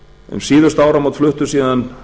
um síðustu áramót fluttust síðan